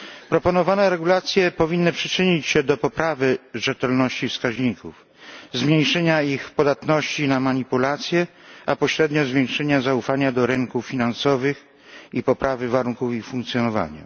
Proponowane regulacje powinny przyczynić się do poprawy rzetelności wskaźników, zmniejszenia ich podatności na manipulacje, a pośrednio zwiększenia zaufania do rynków finansowych i poprawy warunków ich funkcjonowania.